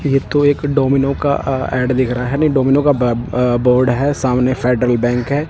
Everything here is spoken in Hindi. यह तो एक डोमिनो का अह ऐ_ड दिख रहा है नहीं डोमिनो का ब अह बोर्ड है। सामने फेडरल बैंक है।